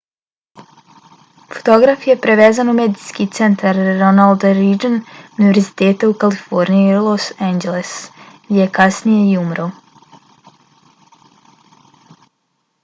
fotograf je prevezen u medicinski centar ronald reagan univerziteta u kaliforniji los anđeles, gdje je kasnije i umro